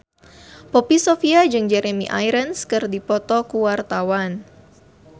Poppy Sovia jeung Jeremy Irons keur dipoto ku wartawan